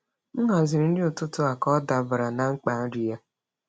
M haziri nri ụtụtụ ka ọ dabara na mkpa nri ya.